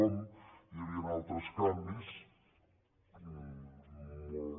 com hi havien altres canvis molt